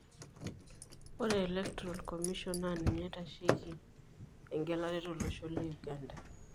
Ore electoral commission naa ninye naitasheki engelare tolosho le Uganda.